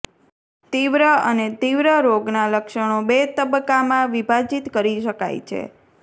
તીવ્ર અને તીવ્ર રોગ ના લક્ષણો બે તબક્કામાં વિભાજિત કરી શકાય છે